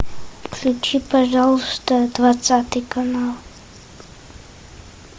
включи пожалуйста двадцатый канал